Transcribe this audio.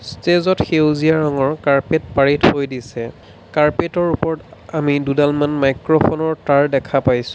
ষ্টেজত সেউজীয়া ৰঙৰ কাৰ্পেট পাৰি থৈ দিছে কাৰ্পেটৰ ওপৰত আমি দুডালমান মাইক্ৰ'ফোনৰ তাঁৰ দেখা পাইছোঁ।